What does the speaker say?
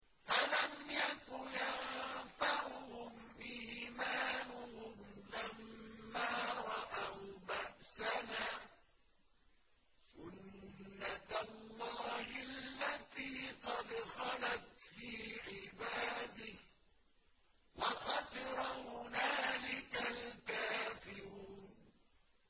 فَلَمْ يَكُ يَنفَعُهُمْ إِيمَانُهُمْ لَمَّا رَأَوْا بَأْسَنَا ۖ سُنَّتَ اللَّهِ الَّتِي قَدْ خَلَتْ فِي عِبَادِهِ ۖ وَخَسِرَ هُنَالِكَ الْكَافِرُونَ